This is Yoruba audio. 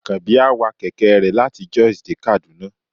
akanbi a wà kẹkẹ re latí Jos dé Kaduna